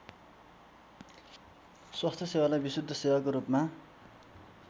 स्वास्थ्यसेवालाई विशुद्ध सेवाको रूपमा